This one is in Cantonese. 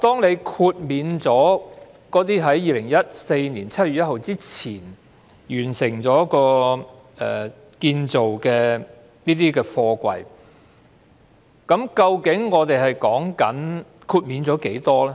如果在2014年7月1日前完成建造的貨櫃可獲豁免，究竟豁免了多少貨櫃呢？